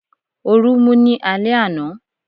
Orun mú ní alé àna